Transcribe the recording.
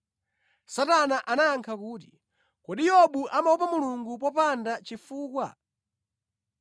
Satana anayankha kuti, “Kodi Yobu amaopa Mulungu popanda chifukwa?”